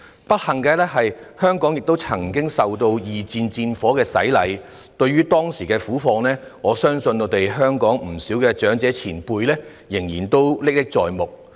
不幸的是，香港亦曾經受到二戰戰火的洗禮，對於當時的苦況，我相信香港不少長者前輩依然歷歷在目。